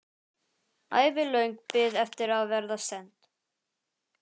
Ævilöng bið eftir að verða send.